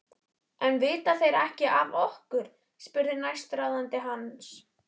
En vita þeir ekki af okkur? spurði næstráðandi hans.